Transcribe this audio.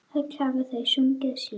Öll hafa þau sungið síðan.